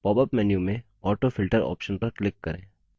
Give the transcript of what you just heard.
popअप menu में autofilter option पर click करें